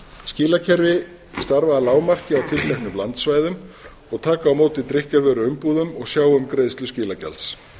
skilakerfi starfa að lágmarki á tilteknum landsvæðum og taka á móti drykkjarvöruumbúðum og sjá um greiðslu skilagjalds